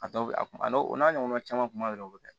A dɔw bɛ a kuma a n'o o n'a ɲɔgɔnna caman kuma wɛrɛ o bɛ kɛ